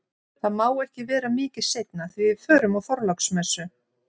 Það má ekki vera mikið seinna því við förum á Þorláksmessu